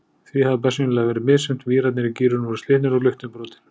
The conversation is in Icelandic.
Því hafði bersýnilega verið misþyrmt, vírarnir í gírunum voru slitnir og luktin brotin.